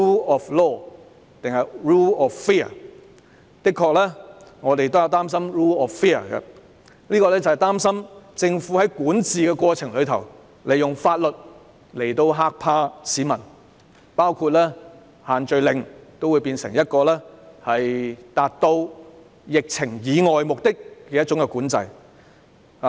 我們的確擔心 rule of fear， 擔心政府在管治過程中，利用法律嚇怕市民，包括把限聚令變成一種管制，以達致控制疫情以外的目的。